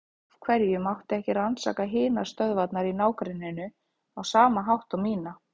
Af hverju mátti ekki rannsaka hinar stöðvarnar í ná- grenninu á sama hátt og mína?